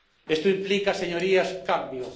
Esto implica, señorías, cambio.